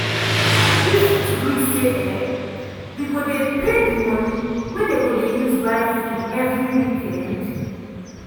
wi fit gree say um wi go dey pay di money wey dey go use buy food every weekend?